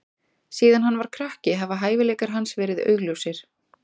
Síðan hann var krakki hafa hæfileikar hans verið augljósir.